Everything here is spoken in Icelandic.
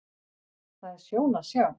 Það er sjón að sjá.